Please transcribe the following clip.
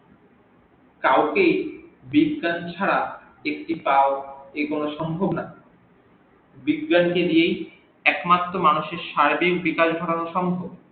কাউকেই বিজ্ঞান ছাড়া একটি পাও এগোনো সম্ভব না বিজ্ঞান কে নিয়েই একমাত্র মানুষের সারাদিন সম্ভব